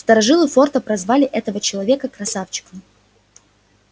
старожилы форта прозвали этого человека красавчиком